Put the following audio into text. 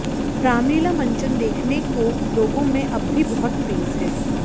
रामलीला मंचन देखने को लोगों में अब भी बहुत क्रेज है